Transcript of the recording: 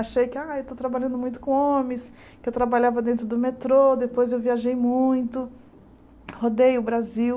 Achei que ah eu estou trabalhando muito com homens, que eu trabalhava dentro do metrô, depois eu viajei muito, rodei o Brasil.